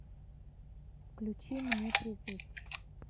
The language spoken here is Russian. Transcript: включи мне призыв